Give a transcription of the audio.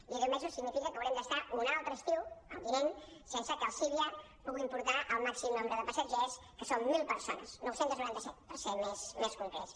i deu mesos significa que haurem d’estar un altre estiu el vinent sense que els civia puguin portar el màxim nombre de passatgers que són mil persones nou cents i noranta set per ser més concrets